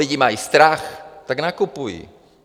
Lidé mají strach, tak nakupují.